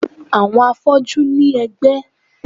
Àwọn afọ́jú ní ẹ̀gbẹ́